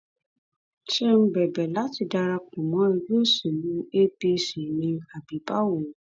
ṣé ń bẹbẹ láti darapọ mọ ẹgbẹ òṣèlú apc ni àbí báwo